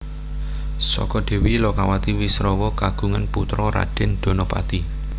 Saka Dèwi Lokawati Wisrawa kagungan putra Radèn Danapati